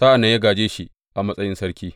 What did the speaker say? Sa’an nan ya gāje shi a matsayin sarki.